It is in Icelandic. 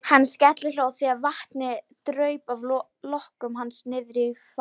Hann skellihló þegar vatnið draup af lokkum hans niðrí fatið.